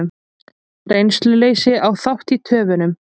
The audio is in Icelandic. Reynsluleysi á þátt í töfunum